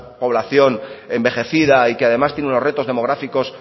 población envejecida y que además tiene unos retos demográficos